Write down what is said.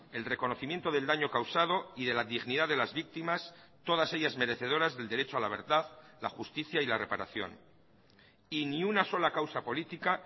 el reconocimiento del daño causado y de la dignidad de las víctimas todas ellas merecedoras del derecho a la verdad la justicia y la reparación y ni una sola causa política